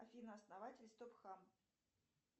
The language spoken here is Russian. афина основатель стоп хам